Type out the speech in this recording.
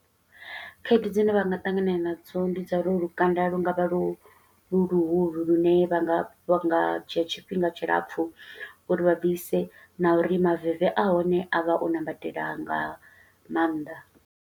Khaedu dzine vha nga ṱangana nadzo, ndi dza uri lukanda lu nga vha lu luhulu lune vha nga, vha nga dzhia tshifhinga tshilapfu uri vha bvise, na uri maveve a hone a vha o ṋambatela nga maanḓa.